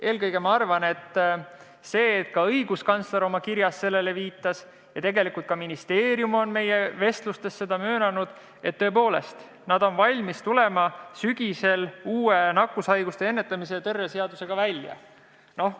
Eelkõige arvan ma seda, et kuna õiguskantsler oma kirjas sellele viitas ja tegelikult on ka ministeerium meie vestlustes seda möönnud, siis tõepoolest ollakse sügisel valmis välja tulema uue nakkushaiguste ennetamise ja tõrje seadusega.